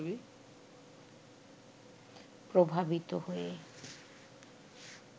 প্রভাবিত হয়ে